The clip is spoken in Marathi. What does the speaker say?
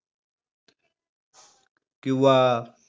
किंवा